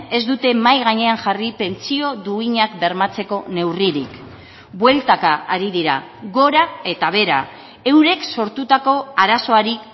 ez dute mahai gainean jarri pentsio duinak bermatzeko neurririk bueltaka ari dira gora eta behera eurek sortutako arazoari